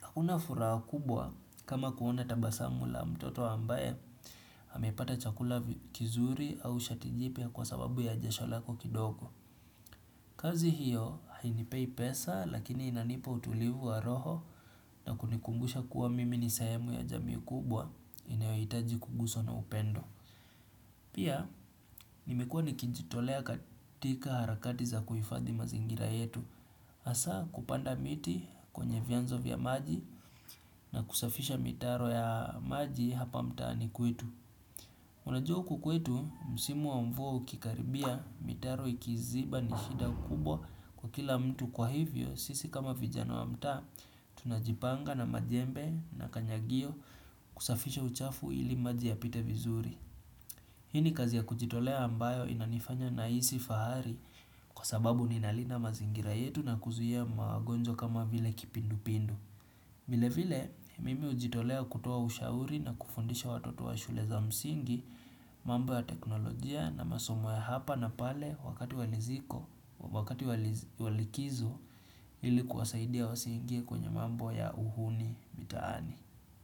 Hakuna furaha kubwa kama kuona tabasamu la mtoto ambaye amepata chakula kizuri au shati jipya, kwa sababu ya jasho lako kidogo kazi hiyo hainipei pesa lakini inanipa utulivu wa roho nakunikumbusha kuwa mimi ni sehemu ya jamii kubwa inayohitaji kuguswa na upendo. Pia nimekuwa nikijitolea katika harakati za kuhifadhi mazingira yetu. Hasaa kupanda miti kwenye vyanzo vya maji, na kusafisha mitaro ya maji hapa mtaani kwetu. Unajuwa huku kwetu, msimu wa mvua ukikaribia, mitaro ikiziba ni shida kubwa kwa kila mtu, kwa hivyo, sisi kama vijana wa mtaa, tunajipanga na majembe na kanyagio kusafisha uchafu ili maji yapite vizuri. Hii ni kazi ya kujitolea ambayo inanifanya nahisi fahari, kwa sababu ninalinda mazingira yetu na kuzuia magonjwa kama vile kipindupindu. Vile vile, mimi hujitolea kutoa ushauri na kufundisha watoto wa shule za msingi, mambo ya teknolojia na masomo ya hapa na pale wakati wa likizo ili kuwasaidia wasiingie kwenye mambo ya uhuni mitaani.